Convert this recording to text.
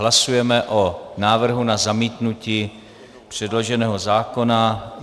Hlasujeme o návrhu na zamítnutí předloženého zákona.